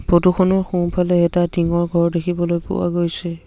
Photo খনৰ সোঁফালে এটা টিংঙৰ ঘৰ দেখিবলৈ পোৱা গৈছে।